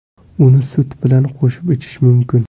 Uni sut bilan qo‘shib ichish mumkin.